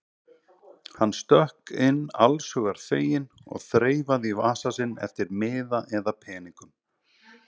Hann stökk inn allshugar feginn og þreifaði í vasa sinn eftir miða eða peningum.